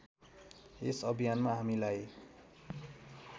यस अभियानमा हामीलाई